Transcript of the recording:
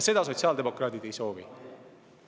Seda sotsiaaldemokraadid ei soovi.